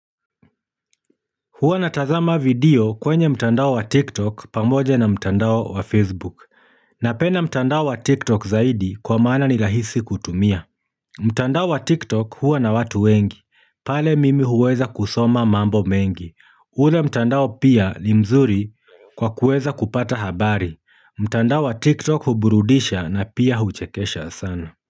Huwa natazama video kwenye mtandao wa tiktok pamoja na mtandao wa facebook napenda mtandao wa TikTok zaidi kwa maana ni rahisi kutumia. Mtandao wa TikTok huwa na watu wengi. Pale mimi huweza kusoma mambo mengi. Ule mtandao pia ni mzuri kwa kuweza kupata habari. Mtandao wa TikTok huburudisha na pia huchekesha sana.